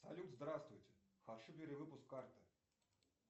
салют здравствуйте хочу перевыпуск карты